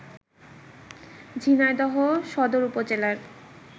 ঝিনাইদহ সদর উপজেলার